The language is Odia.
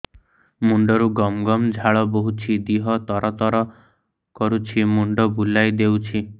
ମୁଣ୍ଡରୁ ଗମ ଗମ ଝାଳ ବହୁଛି ଦିହ ତର ତର କରୁଛି ମୁଣ୍ଡ ବୁଲାଇ ଦେଉଛି